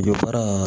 Dɔ fara